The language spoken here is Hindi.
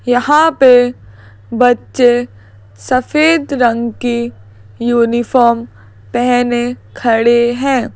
यहां पे बच्चे सफेद रंग की यूनिफॉर्म पहने खड़े हैं।